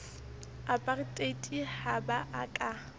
apartheid ha ba a ka